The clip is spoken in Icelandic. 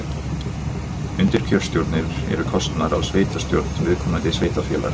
Undirkjörstjórnir eru kosnar af sveitastjórn viðkomandi sveitarfélags.